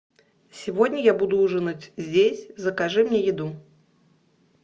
сегодня я буду ужинать здесь закажи мне еду